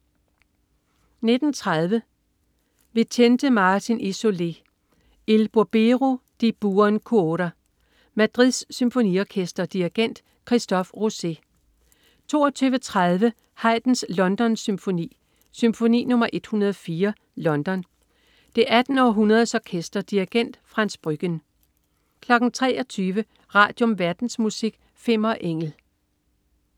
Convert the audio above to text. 19.30 Vicente Martin y Soler: Il burbero di buon cuore. Madrid Symfoniorkester. Dirigent: Christophe Rousset 22.30 Haydns Londonsymfoni. Symfoni nr. 104, London. Det 18. Århundredes Orkester. Dirigent: Frans Brüggen 23.00 Radium. Verdensmusik. Fimmer Engel